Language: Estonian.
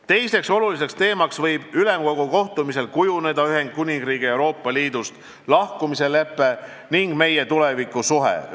Teiseks oluliseks teemaks võib Ülemkogu kohtumisel kujuneda Ühendkuningriigi Euroopa Liidust lahkumise lepe ning meie tulevikusuhe.